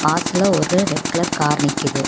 வாசல்ல ஒரு red colour car நிக்குது.